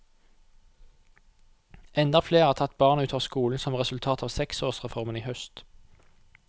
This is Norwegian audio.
Enda flere har tatt barna ut av skolen som resultat av seksårsreformen i høst.